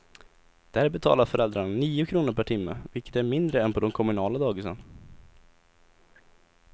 Där betalar föräldrarna nio kronor per timme, vilket är mindre än på de kommunala dagisen.